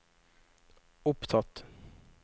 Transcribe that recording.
opptatt